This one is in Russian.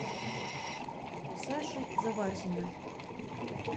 саши заварзина